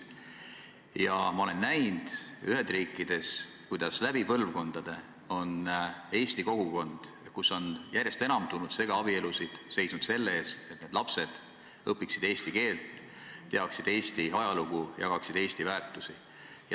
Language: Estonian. Ma olen näinud Ühendriikides, kuidas läbi põlvkondade on eesti kogukond, kus on järjest enam tulnud segaabielusid, seisnud selle eest, et need lapsed õpiksid eesti keelt, teaksid Eesti ajalugu, jagaksid Eesti väärtusi.